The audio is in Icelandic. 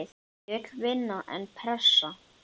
Ég vil vinna, en pressa?